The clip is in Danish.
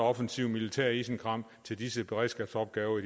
offensivt militært isenkram til disse beredskabsopgaver